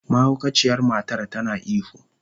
Mahaukaciyar matar tana ihu.